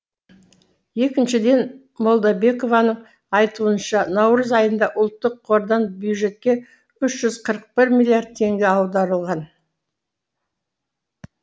екіншіден молдабекованың айтуынша наурыз айында ұлттық қордан бюджетке үш жүз қырық бір миллиард теңге аударылған